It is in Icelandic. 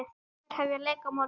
Þær hefja leik á morgun.